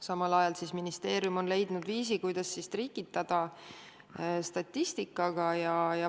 Samal ajal on ministeerium leidnud viisi, kuidas trikitada statistikaga.